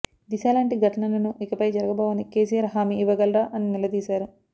దిశా లాంటి ఘటనలను ఇకపై జరగబోవని కేసీఆర్ హామీ ఇవ్వగలరా అని నిలదీశారు